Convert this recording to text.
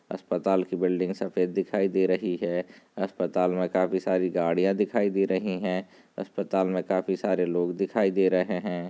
अस्पताल की बिल्डिंग सफ़ेद दिखाई दे रही हैं अस्पताल में काफी सारी गाड़िया दिखाई दे रही हैं अस्पताल में काफी सारे लोग दिखाई दे रहे हैं।